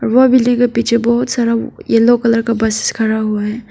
व बिल्डिंग के पीछे बहोत सारा येलो कलर का बसेस खड़ा हुआ है।